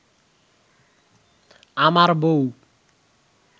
আমার বউ